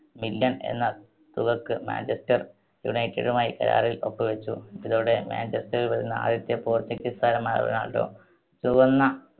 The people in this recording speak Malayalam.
million എന്ന തുകക്ക് മാഞ്ചസ്റ്റർ യുണൈറ്റഡുമായി കരാറിൽ ഒപ്പ് വെച്ചു. ഇതോടെ manchester ൽ വരുന്ന ആദ്യത്തെ portuguese താരമായി റൊണാൾഡൊ. ചുവന്ന